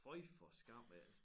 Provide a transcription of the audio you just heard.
Føj for skam af